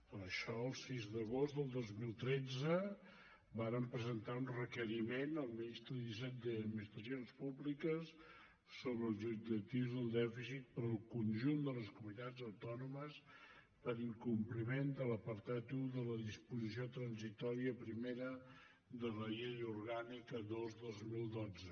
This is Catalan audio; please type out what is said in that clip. per això el sis d’agost del dos mil tretze vàrem presentar un requeriment al ministeri d’hisenda i administracions públiques sobre els objectius del dèficit per al conjunt de les comunitats autònomes per incompliment de l’apartat un de la disposició transitòria primera de la llei orgànica dos dos mil dotze